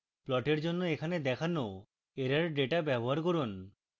প্লটের জন্য এখানে দেওয়া error ডেটা ব্যবহার করুন